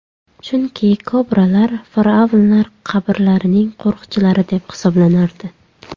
Chunki kobralar Fir’avnlar qabrlarining qo‘riqchilari deb hisoblanardi.